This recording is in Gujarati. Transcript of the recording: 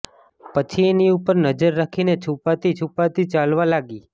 પછી એની ઉપર નજર રાખીને છુપાતી છુપાતી ચાલવા લાગી